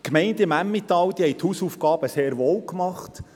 Die Gemeinden im Emmental haben ihre Hausaufgaben sehr wohl gemacht.